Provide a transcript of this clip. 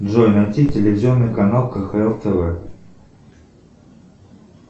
джой найти телевизионный канал кхл тв